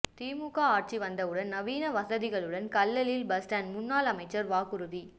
திமுக ஆட்சி வந்தவுடன் நவீன வசதிகளுடன் கல்லலில் பஸ்ஸ்டாண்ட் முன்னாள் அமைச்சர் வாக்குறுதி